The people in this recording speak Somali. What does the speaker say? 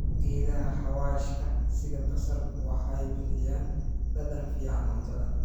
Geedaha xawaashka sida basal waxay bixiyaan dhadhan fiican cuntada.